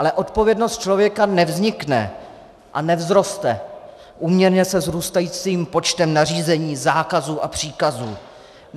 Ale odpovědnost člověka nevznikne a nevzroste úměrně se vzrůstajícím počtem nařízení, zákazů a příkazů.